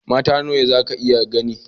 Mata nawa zaka iya gani?